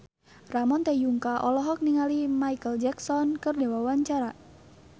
Ramon T. Yungka olohok ningali Micheal Jackson keur diwawancara